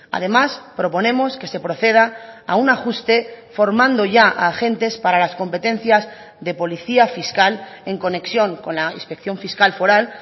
además proponemos que se proceda a un ajuste formando ya a agentes para las competencias de policía fiscal en conexión con la inspección fiscal foral